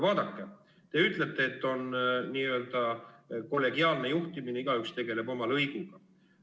Vaadake, te ütlete, et on n-ö kollegiaalne juhtimine, igaüks tegeleb oma lõiguga.